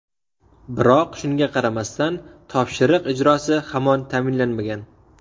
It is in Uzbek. Biroq shunga qaramasdan, topshiriq ijrosi hamon ta’minlanmagan.